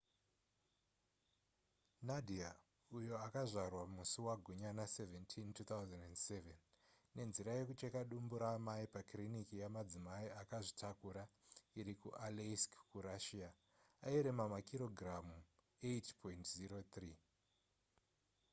nadia uyo akazvarwa musi wagunyana 17 2007 nenzira yekucheka dumbu raamai pakiriniki yemadzimai akazvitakura iri kualeisk kurussia airema makirogiramu 8.03